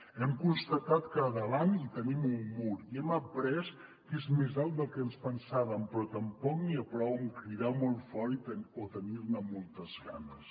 hem constatat que davant hi tenim un mur i hem après que és més alt del que ens pensàvem però tampoc n’hi ha prou amb cridar molt fort o tenir ne moltes ganes